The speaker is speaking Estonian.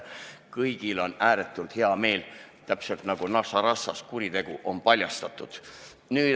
Kõigil on ääretult hea meel, täpselt nagu Naša Rossijas – kuritegu on paljastatud.